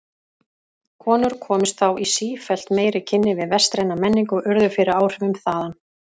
Konur komust þá í sífellt meiri kynni við vestræna menningu og urðu fyrir áhrifum þaðan.